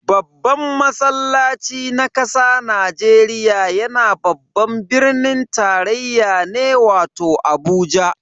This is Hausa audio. Babban masallaci na kasa Najeriya yana babban birnin tarayya ne wato Abuja.